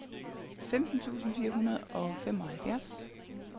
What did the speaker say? femten tusind fire hundrede og femoghalvfjerds